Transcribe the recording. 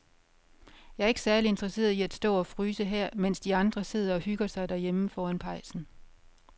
Jeg er ikke særlig interesseret i at stå og fryse her, mens de andre sidder og hygger sig derhjemme foran pejsen.